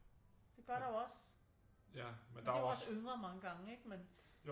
Det gør der jo også men det er jo også yngre mange gange ikke